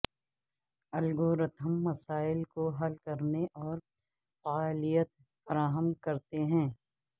algorithm مسائل کو حل کرنے اور فعالیت فراہم کرتے ہیں